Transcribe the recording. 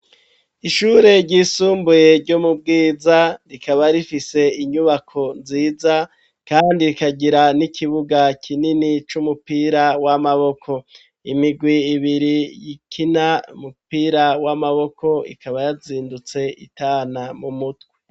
Ishure ry'isumbuye ryo mu Bwiza, rikaba rifise inyubako nziza kandi rikagira n'ikibuga kinini c'umupira w'amaboko. Imigwi ibiri ikina umupira w'amaboko ikaba yazindutse itana mu mutwe.